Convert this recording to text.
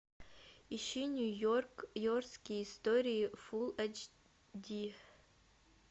ищи нью йорк йоркские истории фулл эйч ди